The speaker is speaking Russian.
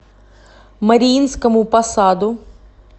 мариинскому посаду